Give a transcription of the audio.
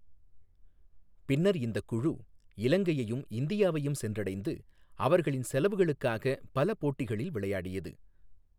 பின்னர் இந்தக் குழு இலங்கையையும் இந்தியாவையும் சென்றடைந்து, அவர்களின் செலவுகளுக்காக பல போட்டிகளில் விளையாடியது.